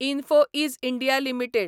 info Edge India limited